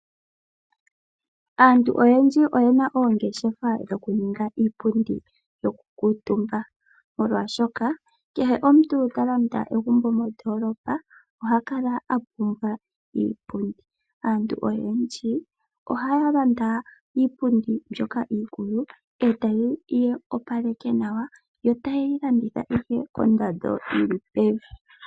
Aantu oyendji oye na oongeshefa dho kuninga, iipundi yoku kuutumba, molwashoka kehe omuntu, ta landa egumbo mondoolopa, oha kala apumbwa iipundi. Aantu oyendji oha ya landa iipundi mbyoka iikulu, eta ye yi opaleke nawa, eta ye yi landithapo kondando yi li pevi.